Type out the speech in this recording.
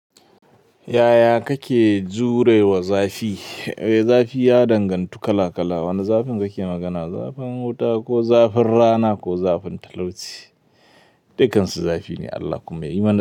Yaya kake jure wa zafi? Zafi ya dangantu kala kala. Wanne zafin kake magana? Zafin wuta ko zafin rana ko zafin talauci? Dukansu zafi ne Allah kuma ya yi mana.